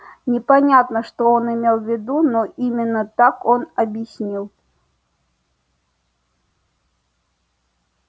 непонятно что он имел в виду но именно так он объяснил